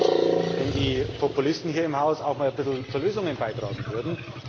Es wäre aber gut, wenn die Populisten hier im Haus auch einmal zu Lösungen beitragen würden.